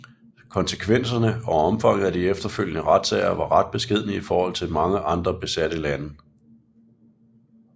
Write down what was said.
Konsekvenserne og omfanget af de efterfølgende retssager var ret beskedne i forhold til mange andre besatte lande